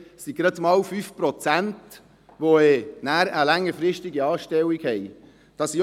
Es sind gerade mal 5 Prozent, die nachher eine längerfristige Anstellung erhalten haben.